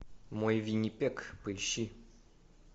мой виннипег поищи